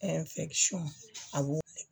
a b'o